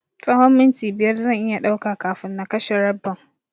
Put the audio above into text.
Tsahon minti biyar zan iya ɗauka kafin na kashe rabbin.